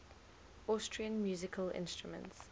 austrian musical instruments